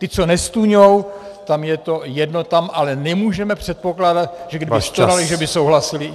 Ti, co nestůňou, tam je to jedno, tam ale nemůžeme předpokládat, že kdyby stonali, že by souhlasili.